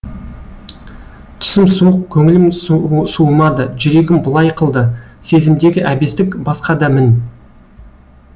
түсім суық көңілім суымады жүрегім былай қылды сезімдегі әбестік басқа да мін